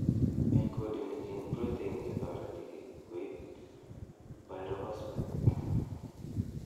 encodeni gene proteinche toreti koip pyrophosphate .